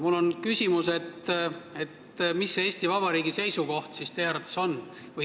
Mul on küsimus, et mis see Eesti Vabariigi seisukoht siis teie arvates on.